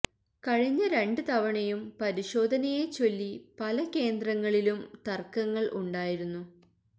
കഴിഞ്ഞ രണ്ട് തവണയും പരിശോധനയെ ചൊല്ലി പല കേന്ദ്രങ്ങളിലും തര്ക്കങ്ങള് ഉണ്ടായിരുന്നു